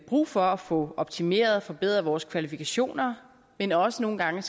brug for at få optimeret og forbedret vores kvalifikationer men også nogle gange